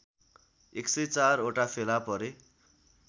१०४ वटा फेला परे